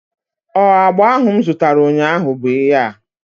Ọ agba ahụ m zutara ụnyaahụ bụ ihea?